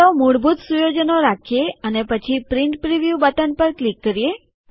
ચાલો મૂળભૂત સુયોજનો રાખીએ અને પછી પ્રિન્ટ પ્રિવ્યુ બટન પર ક્લિક કરીએ